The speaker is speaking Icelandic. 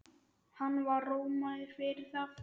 Hann var rómaður fyrir það.